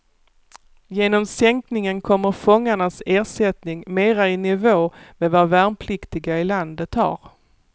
Genom sänkningen kommer fångarnas ersättning mera i nivå med vad värnpliktiga i landet har.